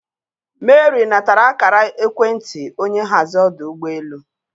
Mary natara akara ekwentị onye nhazi ọdụ ụgbọ elu.